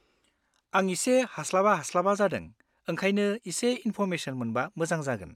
आं एसे हास्लाबा-हास्लाबा जादों ओंखायनो एसे इन्फ'र्मेसन मोनबा मोजां जागोन।